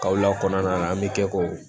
Kaw lakana an bɛ kɛ ko